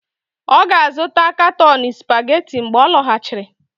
Ọ ga-azụta katọni Supageti mgbe ọ lọghachiri.